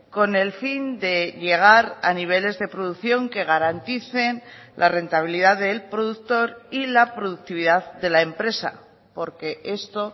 con el fin de llegar a niveles de producción que garanticen la rentabilidad del productor y la productividad de la empresa porque esto